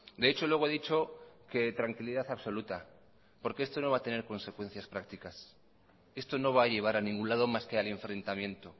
de hecho luego he dicho que tranquilidad absoluta porque esto no va a tener consecuencias prácticas esto no va a llevar a ningún lado más que al enfrentamiento